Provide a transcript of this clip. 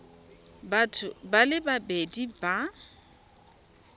batho ba le babedi ba